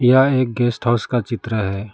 यह एक guest house का चित्र है।